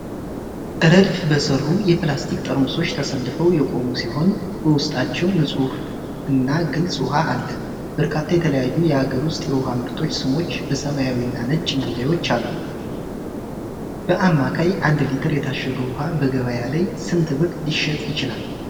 ረድፍ በሰፈሩ የፕላስቲክ ጠርሙሶች ተሰልፈው የቆሙ ሲሆን፣ በውስጣቸው ንጹሕና ግልጽ ውሃ አለ፤ በርካታ የተለያዩ የአገር ውስጥ የውሃ ምርቶች ስሞች በሰማያዊና ነጭ መለያዎች አሉ። በአማካይ አንድ ሊትር የታሸገ ውሃ በገበያ ላይ ስንት ብር ሊሸጥ ይችላል?